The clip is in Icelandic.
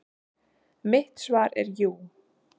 Mitt svar er jú.